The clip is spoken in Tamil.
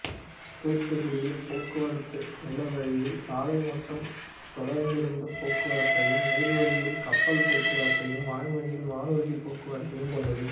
தூதுக்குடியியல் போக்குவரத்து நிலவழியில் சாலை மற்றும் தொடருந்துப் போக்குவரத்தையும் நீர்வழியில் கப்பல் போக்குவரத்தையும் வான்வழியில் வானூர்திப் போக்குவரத்தையும் கொண்டது